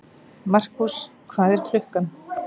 Markús, hvað er klukkan?